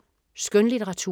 Skønlitteratur